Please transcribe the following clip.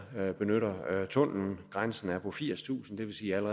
benytter tunnelen grænsen er på firstusind det vil sige